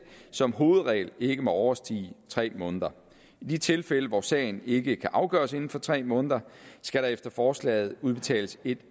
som hovedregel ikke må overstige tre måneder i de tilfælde hvor sagen ikke kan afgøres inden for tre måneder skal der efter forslaget udbetales et